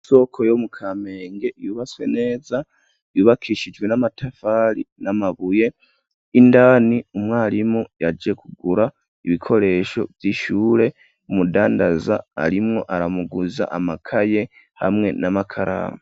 Isoko yo mu kampenge yubaswe neza yubakishijwe n'amatafari n'amabuye indani umwarimu yaje kugura ibikoresho vy'ishure umudandaza arimwo aramuguza amakaye hamwe n'amakaramu.